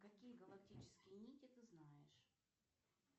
какие галактические нити ты знаешь